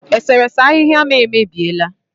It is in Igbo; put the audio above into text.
Eserese ahịhịa m emebiela